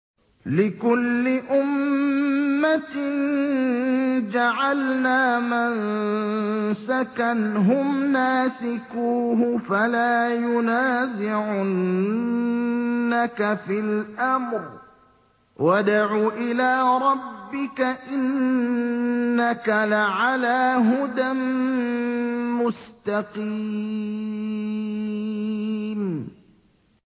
لِّكُلِّ أُمَّةٍ جَعَلْنَا مَنسَكًا هُمْ نَاسِكُوهُ ۖ فَلَا يُنَازِعُنَّكَ فِي الْأَمْرِ ۚ وَادْعُ إِلَىٰ رَبِّكَ ۖ إِنَّكَ لَعَلَىٰ هُدًى مُّسْتَقِيمٍ